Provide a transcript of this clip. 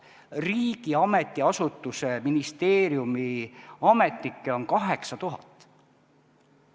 Riigi ametiasutuste, ministeeriumide ametnikke on 8000.